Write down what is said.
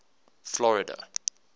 florida